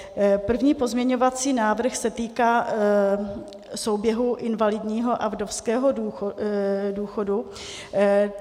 První pozměňovací návrh se týká souběhu invalidního a vdovského důchodu.